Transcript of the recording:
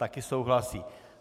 Také souhlasí.